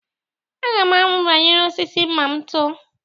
Aga m amụ banyere osisi ma m too.